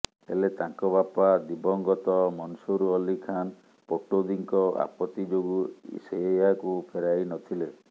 ହେଲେ ତାଙ୍କ ବାପା ଦିବଂଗତ ମନସୁର ଅଲୀ ଖାନ୍ ପଟୌଦିଙ୍କ ଆପତ୍ତି ଯୋଗୁ ସେ ଏହାକୁ ଫେରାଇ ନଥିଲେ